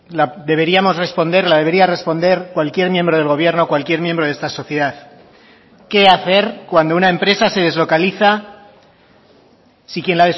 la deberíamos responder la debería responder cualquier miembro del gobierno cualquier miembro de esta sociedad qué hacer cuando una empresa se deslocaliza si quien